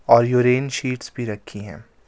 और urine sheets भी रखी हैं.